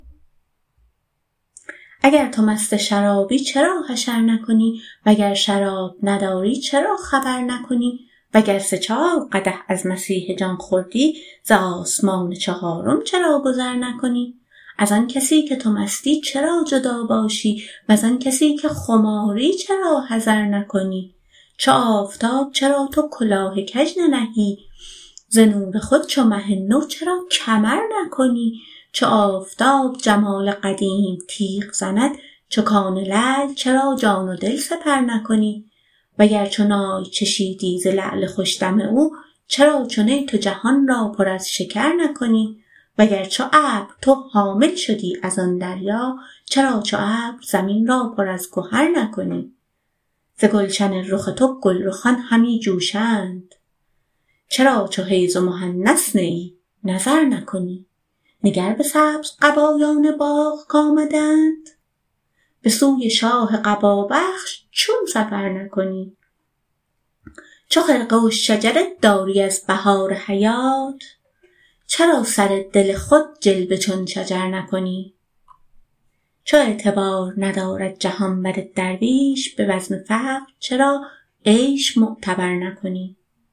اگر تو مست شرابی چرا حشر نکنی وگر شراب نداری چرا خبر نکنی وگر سه چار قدح از مسیح جان خوردی ز آسمان چهارم چرا گذر نکنی از آن کسی که تو مستی چرا جدا باشی وز آن کسی که خماری چرا حذر نکنی چو آفتاب چرا تو کلاه کژ ننهی ز نور خود چو مه نو چرا کمر نکنی چو آفتاب جمال قدیم تیغ زند چو کان لعل چرا جان و دل سپر نکنی وگر چو نای چشیدی ز لعل خوش دم او چرا چو نی تو جهان را پر از شکر نکنی وگر چو ابر تو حامل شدی از آن دریا چرا چو ابر زمین را پر از گهر نکنی ز گلشن رخ تو گلرخان همی جوشند چرا چو حیز و محنث نه ای نظر نکنی نگر به سبزقبایان باغ کآمده اند به سوی شاه قبابخش چون سفر نکنی چو خرقه و شجره داری از بهار حیات چرا سر دل خود جلوه چون شجر نکنی چو اعتبار ندارد جهان بر درویش به بزم فقر چرا عیش معتبر نکنی